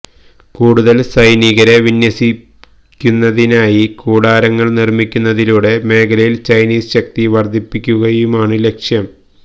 കൂടുതല് സൈനികരെ വിന്യസിക്കുന്നതിനായി കൂടാരങ്ങള് നിര്മിക്കുന്നതിലൂടെ മേഖലയില് ചൈനീസ് ശക്തി വര്ദ്ധിപ്പിക്കുകയുമാണ് ലക്ഷ്യം